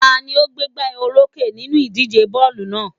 Ta ni ó gbégbá olókè nínú ìdíje bọ́ọ̀lù náà?